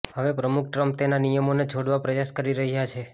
હવે પ્રમુખ ટ્રમ્પ તેના નિયમનોને છોડવા પ્રયાસ કરી રહ્યાં છે